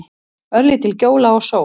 Örlítil gjóla og sól.